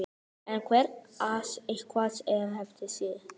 En er það eitthvað sem þeir lifa eftir?